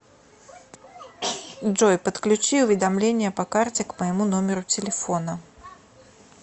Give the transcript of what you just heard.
джой подключи уведомление по карте к моему номеру телефона